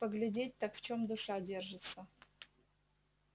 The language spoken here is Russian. поглядеть так в чём душа держится